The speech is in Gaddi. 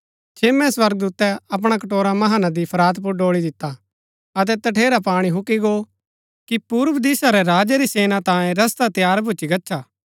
छेम्मै स्वर्गदूतै अपणा कटोरा महानदी फरात पुर ड़ोळी दिता अतै तठेरा पाणी हूक्की गो कि पूर्व दिशा रै राजा री सेना तांयें रस्ता तैयार भूच्ची गच्छा